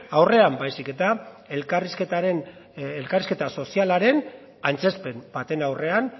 aurrean baizik eta elkarrizketa sozialaren antzezpen baten aurrean